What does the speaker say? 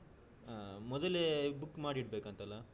ಹಾ ಮೊದಲೇ book ಮಾಡಿಡ್ಬೇಕಂತಲಾ.